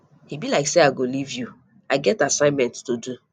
e be like say i go live you i get assignment to do